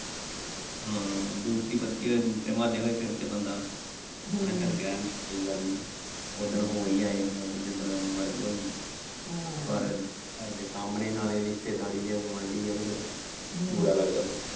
ਹਾਂ ਦੂਸਰੀ ਪੱਤੀ ਹੋਏ ਦੂਸਰੇ ਮਹੁੱਲੇ ਹੋਏ ਫਿਰ ਤਾਂ ਬੰਦਾ ਕੋਈ ਗੱਲ ਨਹੀਂ ਉਸ ਦਿਨ ਹੋ ਹੀ ਆਏ ਜਿਸ ਦਿਨ ਮਰਗ ਹੋਈ ਪਰ ਘਰ ਦੇ ਸਾਹਮਣੇ ਨਾਲੋ ਰਿਸ਼ਤੇਦਾਰੀ ਹੈ ਗੁਆਂਢੀ ਹੈ ਤੇ ਫਿਰ ਬੁਰਾ ਲੱਗਦਾ।